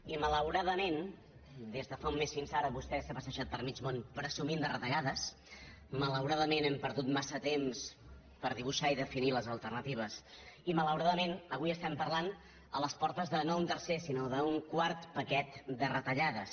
i malauradament des de fa un mes fins ara vostè s’ha passejat per mig món presumint de retallades malauradament hem perdut massa temps per dibuixar i definir les alternatives i malauradament avui estem parlant a les portes de no un tercer sinó un quart paquet de retallades